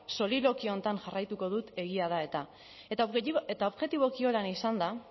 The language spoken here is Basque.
soliloquio honetan jarraituko dut egia da eta eta objetiboki horrela izanda